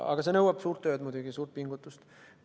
Muidugi see nõuab suurt tööd, suurt pingutust.